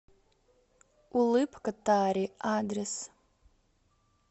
улыбка тари адрес